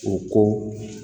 U ko